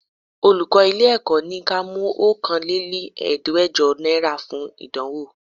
Olùkọ́ ilé Èkó ni ka mú Okòó lé ní Ẹ̀ẹ́dẹ́gbẹjọ náírà wá fún ìdánwò.